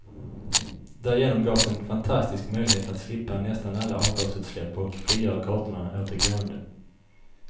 Därigenom gavs en fantastisk möjlighet att slippa nästan alla avgasutsläpp och frigöra gatorna åt de gående.